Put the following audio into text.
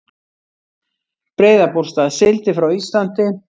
Breiðabólsstað, sigldi frá Íslandi.